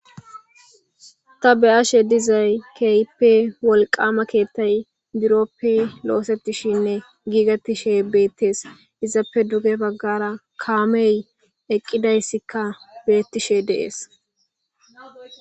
Ta beyashe dizay keype wolqama keettay buroppe loosettishinne giigettishe beettees izappe duge baggara kaamey eqqidayssikka beettishe deees.